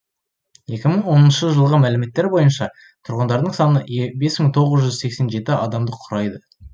екі мың оныншы жылғы мәліметтер бойынша тұрғындарының саны бес мың тоғыз жүз сексен жеті адамды құрайды